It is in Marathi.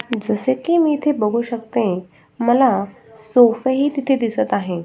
जस की इथे बघू शकते मला सोफा हि तिथे दिसत आहे.